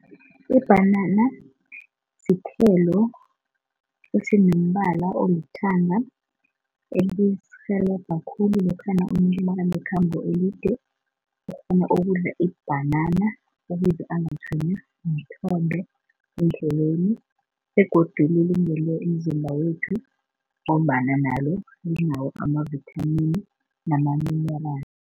Ibhanana sithelo esinombala olithanga elisirhelebha khulu lokhana umuntu nakanekhambo elide ukghona ukudla ibhanana ukuze angatshwenywa mthondo endleleni begodu lilungele umzimba wethu ngombana nalo linawo amavithamini namaminerali.